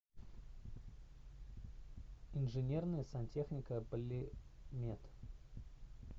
инженерная сантехника полимет